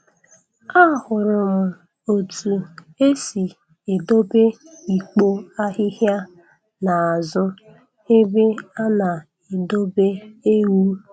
Ahụrụ m otu esi edobe ikpo ahịhịa n'azụ ebe a na-edobe ewu.